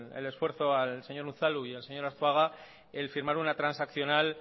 al esfuerzo al señor unzalu y al señor arzuaga el firmar una transaccional